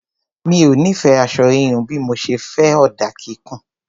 Mi ò nífẹ̀ẹ́ aṣọ híhun bí mo ṣe fẹ́ ọ̀dà kíkùn.